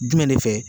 Jumɛn de fɛ